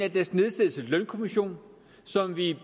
lønkommission som vi